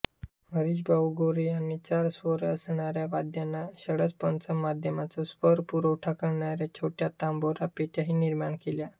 हरिभाऊ गोरे यांनी चार स्वर असणाऱ्या वाद्यांना षड्जपंचम मध्यमाचा स्वरपुरवठा करणाऱ्या छोट्या तंबोरापेट्याही निर्माण केल्या